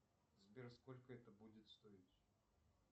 сбер сколько это будет стоить